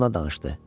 danışdı.